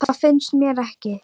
Það finnst mér ekki.